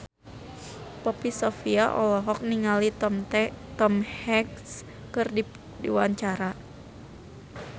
Poppy Sovia olohok ningali Tom Hanks keur diwawancara